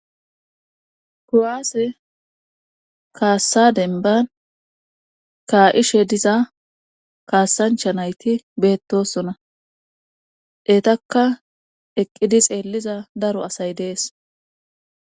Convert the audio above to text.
Kuwaase kaassadenban kaa7ishe diza kaasancha nayti beettosona etakka eqqidi xeelliza daro asay dees.